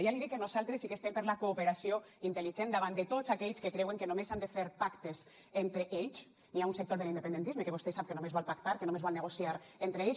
ja li dic que nosaltres sí que estem per la cooperació intel·ligent davant de tots aquells que creuen que només s’han de fer pactes entre ells hi ha un sector de l’independentisme que vostè sap que només vol pactar que només vol negociar entre ells